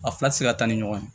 A fila ti se ka taa ni ɲɔgɔn ye